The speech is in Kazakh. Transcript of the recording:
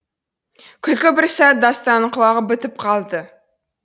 күлкі бір сәт дастанның құлағы бітіп қалды